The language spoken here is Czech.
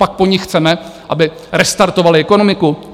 Pak po nich chceme, aby restartovali ekonomiku?